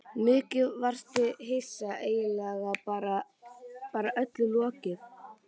Mikið varstu hissa, eiginlega bara öllum lokið.